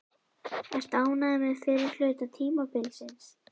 Ertu ánægður með fyrri hluta tímabilsins?